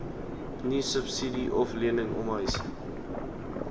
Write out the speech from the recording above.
niesubsidie oflening omhuis